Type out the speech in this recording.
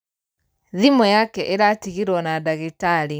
Thimũ yake ĩratigirwo na dagĩtarĩ.